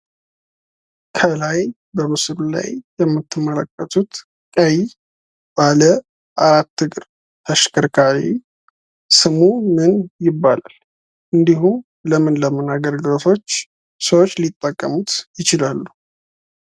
ከላይ በምስሉ ላይ የምትመለከቱት ቀይ ባለአራት እግር ተሽከርካሪ ስሙ ምን ይባላል? እንዲሁም ለምን ለምን አገልግሎቶች ሰዎች ሊጠቀሙት ይችላሉ?